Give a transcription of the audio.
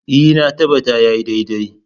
E, na tabbata ya yi daidai.